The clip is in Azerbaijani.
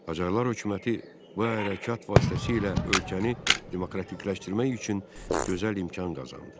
Qacarlar hökuməti bu hərəkət vasitəsilə ölkəni demokratikləşdirmək üçün gözəl imkan qazandı.